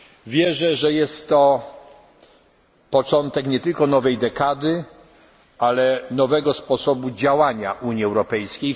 Europejskiej. Wierzę, że jest to początek nie tylko nowej dekady, ale nowego sposobu działania Unii